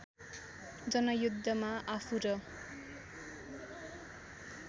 जनयुद्धमा आफू र